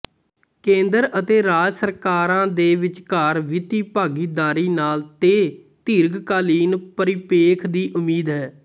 ਕੇਂਦਰ ਅਤੇ ਰਾਜ ਸਰਕਾਰਾਂ ਦੇ ਵਿਚਕਾਰ ਵਿੱਤੀ ਭਾਗੀਦਾਰੀ ਨਾਲ ਤੇ ਦੀਰਘਕਾਲੀਨ ਪਰਿਪੇਖ ਦੀ ਉਮੀਦ ਹੈ